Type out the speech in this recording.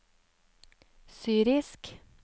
syrisk